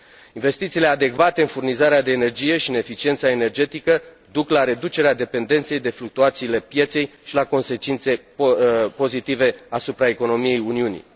Investițiile adecvate în furnizarea de energie și în eficiența energetică duc la reducerea dependenței de fluctuațiile pieței și la consecințe pozitive asupra economiei Uniunii.